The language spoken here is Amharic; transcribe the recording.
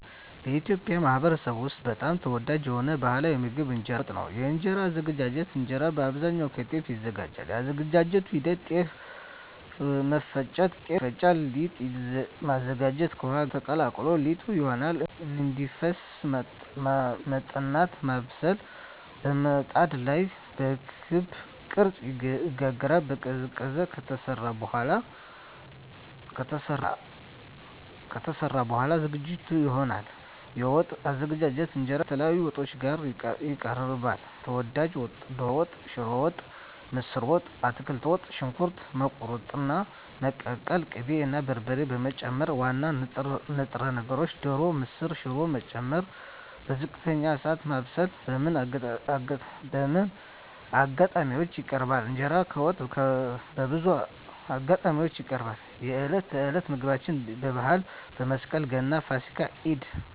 በኢትዮጵያ ማኅበረሰብ ውስጥ በጣም ተወዳጅ የሆነው ባሕላዊ ምግብ እንጀራ በወጥ ነው። የእንጀራ አዘገጃጀት እንጀራ በአብዛኛው ከጤፍ ይዘጋጃል። የአዘገጃጀት ሂደት ጤፍ መፍጨት – ጤፍ ይፈጫል ሊጥ ማዘጋጀት – ከውሃ ጋር ተቀላቅሎ ሊጥ ይሆናል እንዲፈስ መጥናት (ማብሰል) – በምጣድ ላይ በክብ ቅርጽ ይጋገራል መቀዝቀዝ – ከተሰራ በኋላ ዝግጁ ይሆናል የወጥ አዘገጃጀት እንጀራ ከተለያዩ ወጦች ጋር ይቀርባል። ተወዳጅ ወጦች ዶሮ ወጥ ስጋ ወጥ ሽሮ ወጥ ምስር ወጥ አትክልት ወጥ . ሽንኩርት መቁረጥና መቀቀል ቅቤ እና በርበሬ መጨመር ዋና ንጥረ ነገር (ዶሮ፣ ምስር፣ ሽሮ…) መጨመር በዝቅተኛ እሳት ማብሰል በምን አጋጣሚዎች ይቀርባል? እንጀራ ከወጥ በብዙ አጋጣሚዎች ይቀርባል፦ የዕለት ተዕለት ምግብ የበዓላት (መስቀል፣ ገና፣ ፋሲካ፣ ኢድ)